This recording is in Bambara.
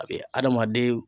A bi adamaden